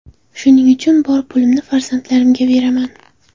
Shuning uchun bor pulimni farzandlarimga beraman.